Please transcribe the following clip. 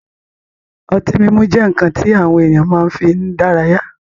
Ọtí mímu jẹ́ nkan ti àwọn ènìyàn máa fi ń dára yá